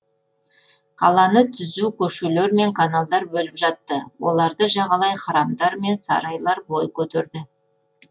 қаланы түзу көшелер мен каналдар бөліп жатты оларды жағалай храмдармен сарайлар бой көтерді